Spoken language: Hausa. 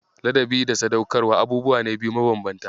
Ladabi da Sadaukarwa abubuwa ne biyu mabanbanta.